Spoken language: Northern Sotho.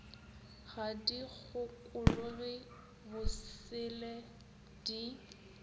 ga di kgokologe bosele di